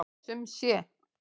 Sum sé.